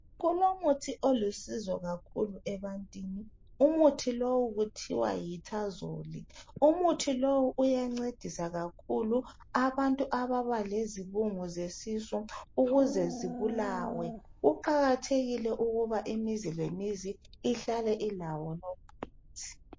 Lulomuthi olusizo kakhulu ebantwini. Umuthi lowu uthiwa yi tanzol. Umuthi lowu uyancedisa kakhulu abantu ababa lezibungu zesisu ukuze zibulawe. Kuqakathekile ukuba imizi lemizi ihlale ilawo lumuthi.